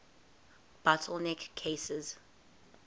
bottle neck cases